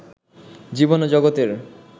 জীবন ও জগতের